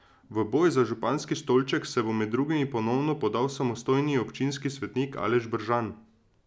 V boj za županski stolček se bo med drugimi ponovno podal samostojni občinski svetnik Aleš Bržan.